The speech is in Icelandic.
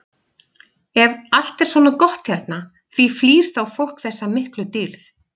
Ef allt er svona gott hérna, því flýr þá fólk þessa miklu dýrð?